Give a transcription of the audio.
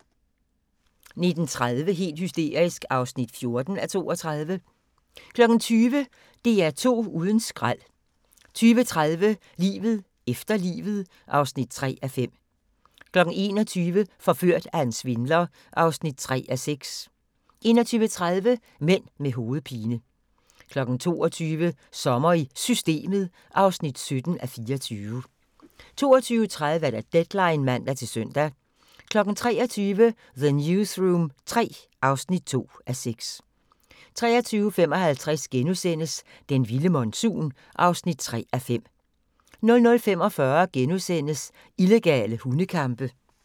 19:30: Helt hysterisk (14:32) 20:00: DR2 uden skrald 20:30: Livet efter livet (3:5) 21:00: Forført af en svindler (3:6) 21:30: Mænd med hovedpine 22:00: Sommer i Systemet (17:24) 22:30: Deadline (man-søn) 23:00: The Newsroom III (2:6) 23:55: Den vilde monsun (3:5)* 00:45: Illegale hundekampe *